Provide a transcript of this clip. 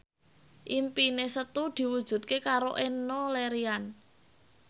impine Setu diwujudke karo Enno Lerian